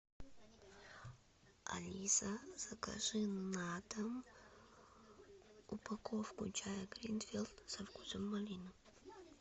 алиса закажи на дом упаковку чая гринфилд со вкусом малины